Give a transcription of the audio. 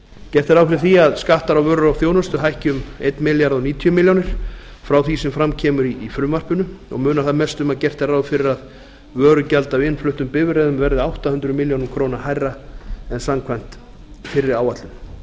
gert er ráð fyrir því að skattar á vöru og þjónustu hækki um þúsund og níutíu milljónir frá því sem fram kemur í frumvarpinu og munar þar mest um að gert er ráð fyrir að vörugjald af innfluttum bifreiðum verði átta hundruð milljóna króna hærra en samkvæmt fyrri áætlun þá